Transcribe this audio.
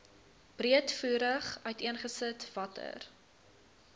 breedvoerig uiteengesit watter